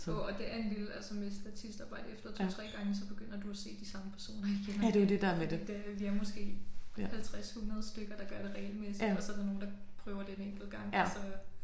Jo og det er en lille altså med statistarbejde efter 2 3 gange så begynder du at se de samme personer igen fordi at øh vi er måske 50 100 stykker der gør det regelmæssigt og så er der nogle der prøver det én enkelt gang og så